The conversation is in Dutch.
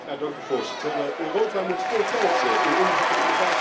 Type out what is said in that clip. Europa moet veel geld in onderzoek en innovatie investeren.